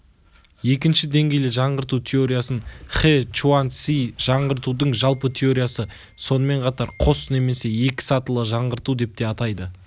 екінші деңгейлі жаңғырту теориясын хэ чуаньци жаңғыртудың жалпы теориясы сонымен қатар қос немесе екі сатылы жаңғырту деп те атайды